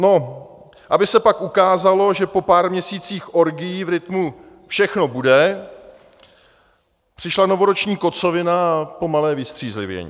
No, aby se pak ukázalo, že po pár měsících orgií v rytmu "všechno bude" přišla novoroční kocovina a pomalé vystřízlivění.